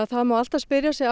það má alltaf spyrja sig